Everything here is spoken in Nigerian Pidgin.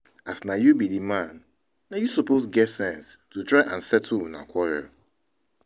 As na you be the man, na you suppose get sense to try and settle una quarrel